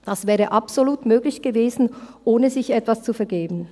Das wäre absolut möglich gewesen, ohne sich etwas zu vergeben.